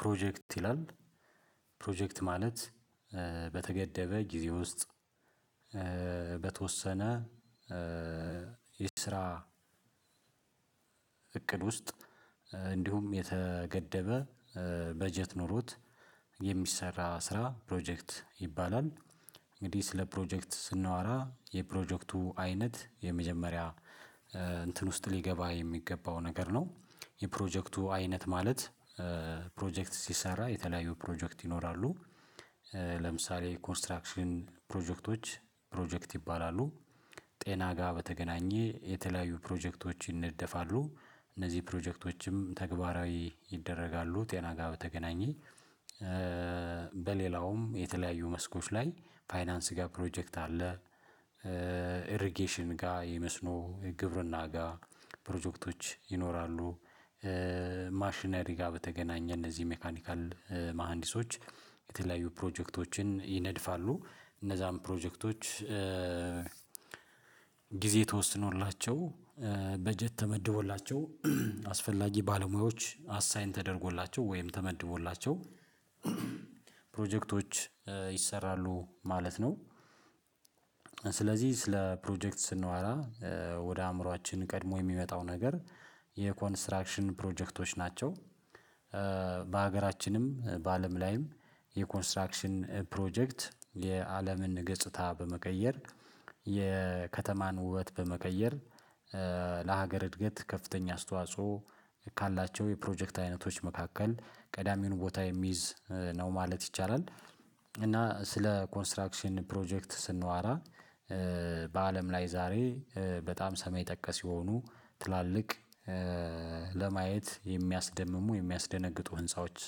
ፕሮጀክት ይላል ፕሮጀክት ማለት በተገደበ ጊዜ ውስጥ በተወሰነ የስራ እቅድ ውስጥ እንዲሁም የተገደበ በጀት ኖሮት የሚሰራ ስራ ፕሮጀክት ይባላል። እንግዲህ ስለ ፕሮጀክት ስናወራ የፕሮጀክቱ አይነት የመጀመሪያ እንትን ውስጥ ሊገባ የሚገባው ነገር ነው። የፕሮጀክቱ አይነት ማለት ፕሮጀክት ሲሰራ የተለያዩ ፕሮጀክት ይኖራሉ። ለምሳሌ ኮንስትራክሽን ፕሮጀክቶች ፕሮጀክት ይባላሉ። ጤና ጋር በተገናኘ የተለያዩ ፕሮጀክቶች ይነደፋሉ። እነዚህ ፕሮጀክቶችም ተግባራዊ ይደረጋሉ ጤና ጋር በተገናኘ። በሌላውም የተለያዩ መስኮች ላይ ፋይናንስ ጋር ፕሮጀክት አለ። ኢርጌሽን ጋር ይመስሎ የግብርና ጋር ፕሮጀክቶች ይኖራሉ። ማሽነሪ ጋር በተገናኘ እነዚህ ሜካኒካል መሃንዲሶች የተለያዩ ፕሮጀክቶችን ይነድፋሉ። እነዛን ፕሮጀክቶች። ጊዜ ተወስኖላቸው በጀት ተመድቦላቸው አስፈላጊ ባለሙያዎች አሳይን ተደርጎላቸው ወይም ተመድቦላቸው ፕሮጀክቶች ይሰራሉ ማለት ነው። ስለዚህ ስለ ፕሮጀክት ስናወራ ወደ አእምሮአችን ቀድሞ የሚመጣው ነገር የኮንስትራክሽን ፕሮጀክቶች ናቸው። በሀገራችንም በአለም ላይም የኮንስትራክሽን ፕሮጀክት የአለምን ገጽታ በመቀየር የከተማን ውበት በመቀየር ለሀገር እድገት ከፍተኛ አስተዋጽኦ ካላቸው የፕሮጀክት አይነቶች መካከል ቀዳሚውን ቦታ የሚይዝ ነው ማለት ይቻላል። እና ስለ ኮንስትራክሽን ፕሮጀክት ስንዋራ በአለም ላይ ዛሬ በጣም ሰማይ ጠቀስ የሆኑ ትላልቅ ለማየት የሚያስደምሙ የሚያስደነግጡ ህንፃዎች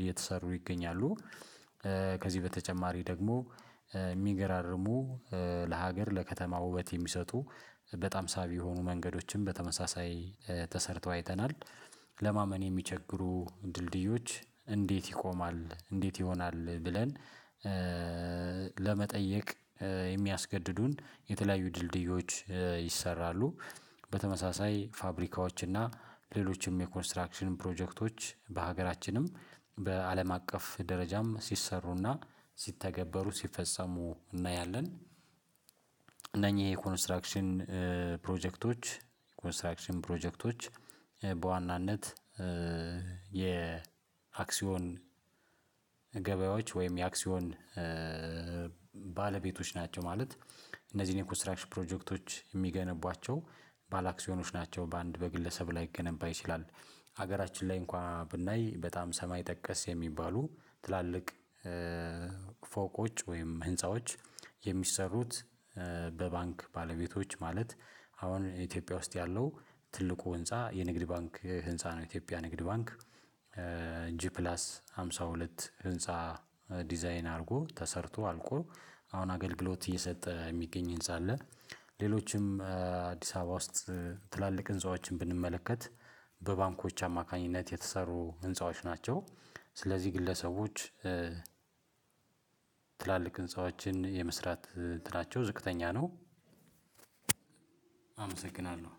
እየተሰሩ ይገኛሉ። ከዚህ በተጨማሪ ደግሞ የሚገራርሙ ለሀገር ለከተማ ውበት የሚሰጡ በጣም ሳቢ የሆኑ መንገዶችን በተመሳሳይ ተሰርተው አይተናል። ለማመን የሚቸግሩ ድልድዮች እንዴት ይቆማል? እንዴት ይሆናል? ብለን ለመጠየቅ የሚያስገድዱን የተለያዩ ድልድዮች ይሰራሉ። በተመሳሳይ ፋብሪካዎች እና ሌሎችም የኮንስትራክሽን ፕሮጀክቶች በሀገራችንም በአለም አቀፍ ደረጃም ሲሰሩና ሲተገበሩ ሲፈጸሙ እናያለን። እነኚህ የኮንስትራክሽን ፕሮጀክቶች ኮንስትራክሽን ፕሮጀክቶች በዋናነት የአክሲዮን ገበያዎች ወይም የአክሲዮን ባለቤቶች ናቸው። ማለት እነዚህን የኮስትራክሽን ፕሮጀክቶች የሚገነቧቸው ባላክሲዮኖች ናቸው በአንድ በግለሰብ ላይ ላይገነባ ይችላል። ሀገራችን ላይ እንኳን ብናይ በጣም ሰማይ ጠቀስ የሚባሉ ትላልቅ ፎቆች ወይም ህንፃዎች የሚሰሩት በባንክ ባለቤቶች ማለት አሁን ኢትዮጵያ ውስጥ ያለው ትልቁ ህንፃ የንግድ ባንክ ህንፃ ነው። የኢትዮጵያ ንግድ ባንክ ጂ ፕላስ ሃምሳ ሁለት ህንፃ ዲዛይን አድርጎ ተሰርቶ አልቆ አሁን አገልግሎት እየሰጠ የሚገኝ ህንፃ አለ። ሌሎችም አዲስ አበባ ውስጥ ትላልቅ ህንፃዎችን ብንመለከት በባንኮች አማካኝነት የተሰሩ ህንፃዎች ናቸው። ስለዚህ ግለሰቦች ትላልቅ ህንፃዎችን የመስራት እንትናቸው ዝቅተኛ ነው። አመሰግናለሁ።